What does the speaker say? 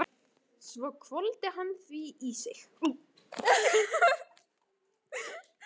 Svo hvolfdi hann því í sig.